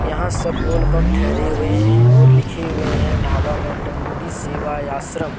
यहां सब बोल बम्ब थहरे हुए है और लिखें हुए है ढाबा में दण्डी सेवा आश्रम।